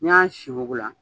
N'i y'a sin wugu la